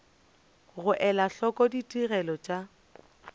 go ela hloko ditigelo tša